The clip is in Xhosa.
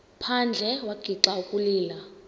phandle wagixa ukulila